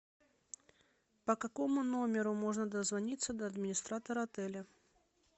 по какому номеру можно дозвониться до администратора отеля